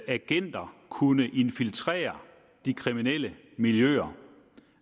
agenter kunne infiltrere de kriminelle miljøer